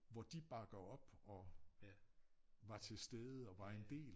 Hvor de bakker op og var til stede og var en del